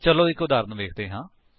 ਚੱਲੋ ਇੱਕ ਉਦਾਹਰਣ ਵੇਖਦੇ ਹਾਂ